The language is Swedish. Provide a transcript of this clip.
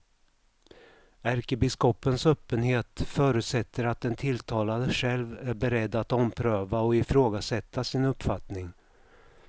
Ärkebiskopens öppenhet förutsätter att den tilltalade själv är beredd att ompröva och ifrågasätta sin uppfattning.